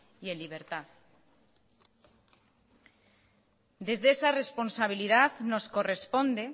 y en libertad desde esa responsabilidad nos corresponde